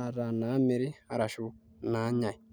ataa inaamiri arashu inaanyai.